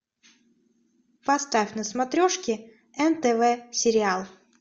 поставь на смотрешке нтв сериал